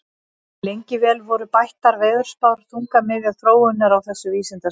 Lengi vel voru bættar veðurspár þungamiðja þróunar á þessu vísindasviði.